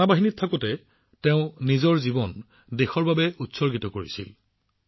সেনাবাহিনীত থাকোঁতে তেওঁ নিজৰ জীৱন দেশলৈ উৎসৰ্গা কৰিছিল